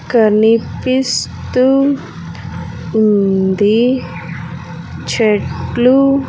కనిపిస్తూ ఉంది చెట్లు.